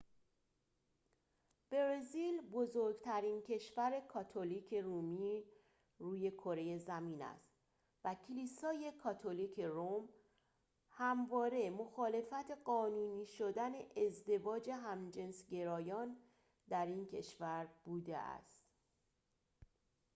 برزیل بزرگترین کشور کاتولیک رومی روی کره زمین است و کلیسای کاتولیک روم همواره مخالف قانونی شدن ازدواج همجنسگرایان در این کشور بوده است